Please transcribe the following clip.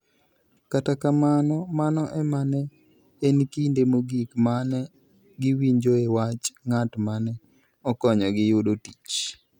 Kata kamano, mano ema ne en kinde mogik ma ne giwinjoe wach ng'at ma ne okonyogi yudo tich.